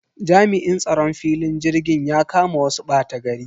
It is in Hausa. Jami'in tsaron filin jirgin ya kama wasu ɓatagari.